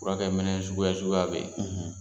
Furukɛ minɛ suguya suguya bɛ ye.